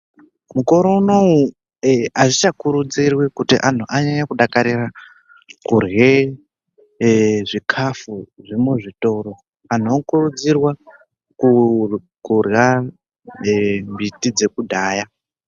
Mukore unouyu hazvichakurudzirwi kuti antu anyanye kudakarira kurye zvikafu zvemuzvitoro. Antu anokurudzirwa kurya ee mbiti dzekudhaya.